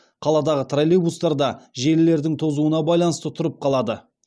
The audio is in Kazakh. қаладағы троллейбустар да желілердің тозуына байланысты тұрып қалады